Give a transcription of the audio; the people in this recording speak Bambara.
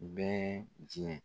Bɛn diɲɛ